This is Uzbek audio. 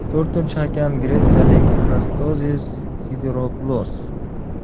To‘rtinchi hakam gretsiyalik Anastasios Sidiropulos.